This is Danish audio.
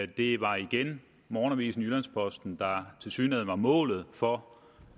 det var igen morgenavisen jyllands posten der tilsyneladende var målet for